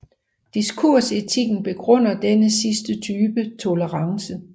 Diskursetikken begrunder denne sidste type tolerance